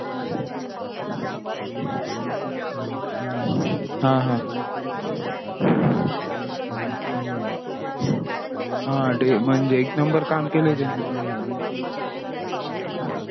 हा हा हा ते म्हणजे एक नंबर काम केला हे त्यांनी